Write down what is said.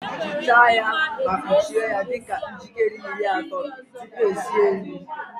Ghichaa ya ma kpuchie ya ihe dị ka nkeji iri atọ tupu esi nri